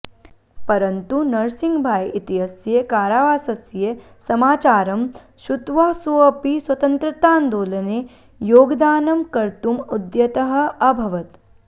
परन्तु नरसिंहभाई इत्यस्य कारावासस्य समाचारं श्रुत्वा सोऽपि स्वतन्त्रतान्दोलने योगदानं कर्तुम् उद्यतः अभवत्